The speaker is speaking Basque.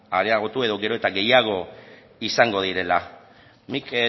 areagotu edo gero eta gehiago izango direla nik